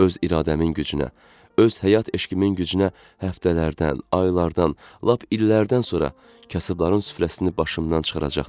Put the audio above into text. Öz iradəmin gücünə, öz həyat eşqimin gücünə həftələrdən, aylardan, lap illərdən sonra kasıbların süfrəsini başımdan çıxaracaqdım.